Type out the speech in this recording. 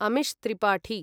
Amish Tripathi